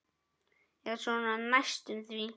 Eða svona næstum því.